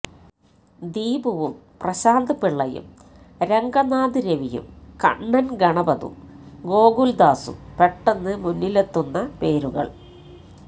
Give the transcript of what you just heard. ദീപുവും പ്രശാന്ത് പിള്ളയും രംഗനാഥ് രവിയും കണ്ണന് ഗണപതും ഗോകുല്ദാസും പെട്ടെന്ന് മുന്നിലെത്തുന്ന പേരുകള്